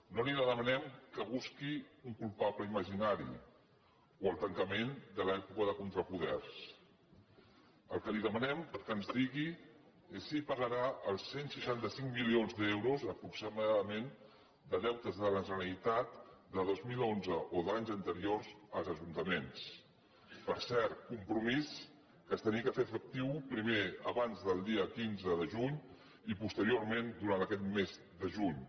no li demanem que busqui un culpable imaginari o el tancament de l’època de contrapoders el que li demanem que ens digui és si pagarà els cent i seixanta cinc milions d’euros aproximadament de deutes de la generalitat de dos mil onze o d’anys anteriors als ajuntaments per cert compromís que havia de fer·se efectiu primer abans del dia quinze de juny i posterior·ment durant aquest mes de juny